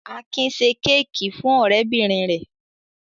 Akin ṣe kéékì fún ọ̀rẹ́bìnrin rẹ̀.